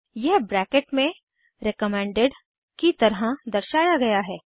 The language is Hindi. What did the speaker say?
यह ब्रैकेट में रिकमेंडेड रेकमेन्डड की तरह दर्शाया गया है